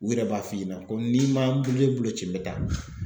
U yɛrɛ b'a f'i ɲɛna ko n'i m'a n ne bolo ci me taa